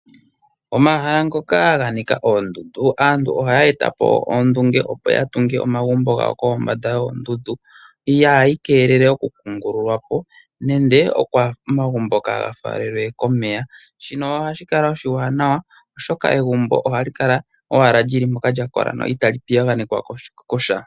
Omahala ngoka ganika oondundu, aantu ohaya eta po ondunge opo yatunge omagumbo gawo kombanda yoondundu ihe ohaga vulu oku kungululwapo nande omagumbo kaaga faalelwe komeya, shino ohashi kala oshiwaanawa oshoka egumbo ohali kala owala lili mpoka itaali piyaganekwa kosha.